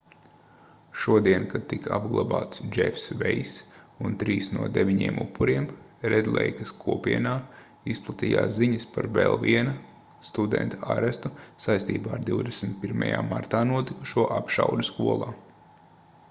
šodien kad tika apglabāts džefs veiss un trīs no deviņiem upuriem redleikas kopienā izplatījās ziņas par vēl viena studenta arestu saistībā ar 21. martā notikušo apšaudi skolā